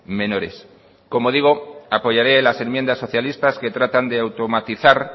menores como digo apoyaré las enmiendas socialistas que tratan de automatizar